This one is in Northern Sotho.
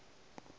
o re ke ye ke